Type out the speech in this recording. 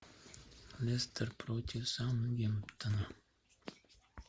лестер против саутгемптона